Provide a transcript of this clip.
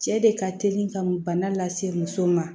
Cɛ de ka teli ka bana lase muso ma